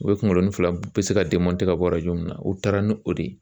U bɛ kunkolonin fila bɛ se ka ka bɔ yɔrɔ min na u taara ni o de ye